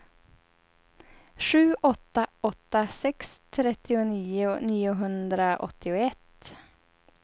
sju åtta åtta sex trettionio niohundraåttioett